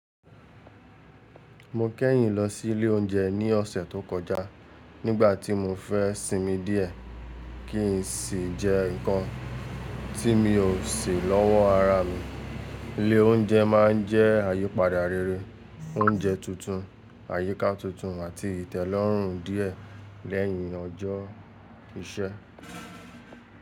Mo kẹ́yìn lọ sí ilé oúnjẹ ní ọ̀sẹ̀ tó kọjá nígbà tí mo fẹ́ sinmi díẹ̀ kí n sì jẹ nǹkan tí mi ò sè lọ́wọ́ ara mi. Ilé oúnjẹ máa ń jẹ́ àyípadà rere, oúnjẹ tuntun, àyíká tuntun àti ìtẹ́lọ́rùn díẹ̀ lẹ́yìn ọjọ́ iṣẹ́.